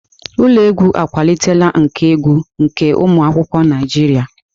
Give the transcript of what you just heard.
Ụlọ egwu akwalitela nkà egwu nke ụmụ akwụkwọ Naijiria.